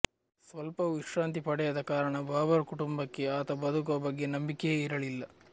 ಸ್ವಲ್ಪವೂ ವಿಶ್ರಾಂತಿ ಪಡೆಯದ ಕಾರಣ ಬಾಬರ್ ಕುಟುಂಬಕ್ಕೆ ಆತ ಬದುಕುವ ಬಗ್ಗೆ ನಂಬಿಕೆಯೇ ಇರಲಿಲ್ಲ